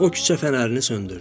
O küçə fənərini söndürdü.